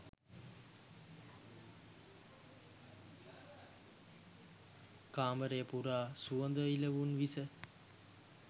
කාමරය පුරා සුවඳ විළවුන් ඉස